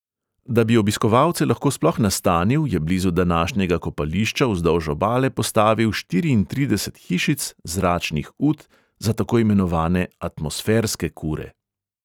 Da bi obiskovalce lahko sploh nastanil, je blizu današnjega kopališča vzdolž obale postavil štiriintrideset hišic, zračnih ut, za tako imenovane atmosferske kure.